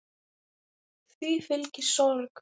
Því fylgi sorg.